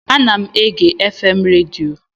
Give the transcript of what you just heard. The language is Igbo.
Ana m ege FM redio